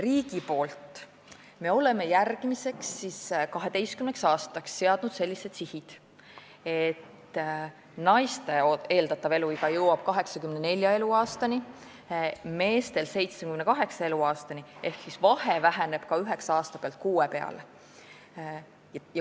Riigi poolt oleme järgmiseks 12 aastaks seadnud sellised sihid, et naistel jõuab eeldatav eluiga 84 eluaastani, meestel 78 eluaastani ehk vahe väheneb üheksa aasta pealt kuue peale.